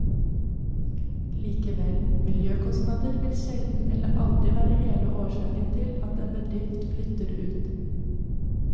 Likevel, miljøkostnader vil sjelden eller aldri være hele årsaken til at en bedrift flytter ut.